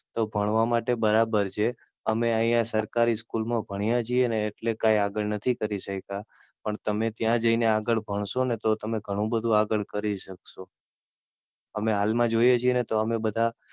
તો ભણવા માટે બરાબર છે. અમે અહિયાં સરકારી School મા ભણ્યા છીએ ને એટલે કઈ આગળ નથી કરી શક્યા. પણ તમે ત્યાં જઈ ને આગળ ભણશો ને તો તમે ઘણું બધું આગળ કરી શકશો. અમે હાલ મા જોઈએ છીએ ને તો અમે બધા,